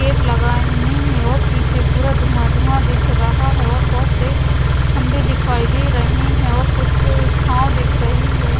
Cap लगाये हुए है और पीछे पूरा धुँआ धुँआ दिख रहा है और बहोत से खम्भे दिखाई दे रहे है और कुछ छाव दिख रही है।